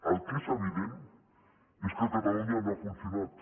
el que és evident és que a catalunya no ha funcionat